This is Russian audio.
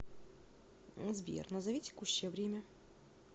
сбер назови текущее время